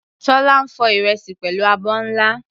Tola ń fọ ìrẹsì pẹ̀lú abọ́ ńlá.